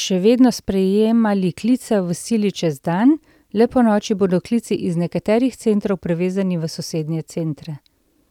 še vedno sprejemali klice v sili čez dan, le ponoči bodo klici iz nekaterih centrov prevezani v sosednje centre.